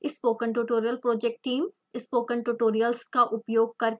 spoken tutorial project team: spoken tutorials का उपयोग करके कार्यशालाएं चलाती है